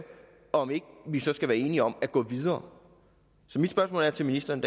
om ikke vi så skal være enige om at gå videre så mit spørgsmål til ministeren